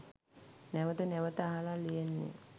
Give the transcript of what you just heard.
නැවත නැවත අහල ලියන්නෙ.